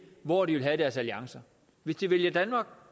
hvor de vil have deres alliancer hvis de vælger